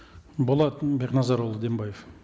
болат бекназарұлы дембаев